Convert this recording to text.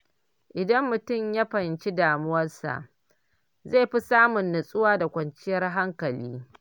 Idan mutum ya fahimci damuwarsa, zai fi samun natsuwa da kwanciyar hankali.